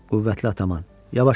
Qüvvətli atomam.